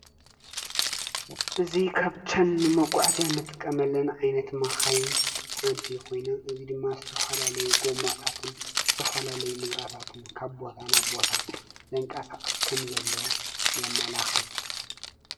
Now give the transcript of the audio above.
እዚ ካብተን ንመጕዕዝያ እንጥቀመለን ኣይነት ማኻይን ሓንቲ ኾይነ እዙይ ድማ ዝተፈላለይ ጐማታትን ዝተፈላለይ ንብራታትን ካቦታ ናቦታ ዘንቃሳቅስ ከም ዘሎ የመላኽት።